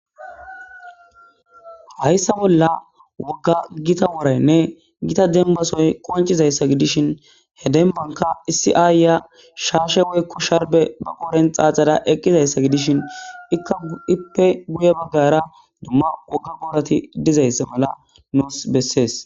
hayssa bolla wogga gita woraynne gita denbasoy qoncizayssa gidishin he dembanka isiaayya shaashe weykko sharbe baqooren xaaxada eqqizayssa gidishin ikka ippe guye baggara dumma wogga goorati dizaysse mala noos bessees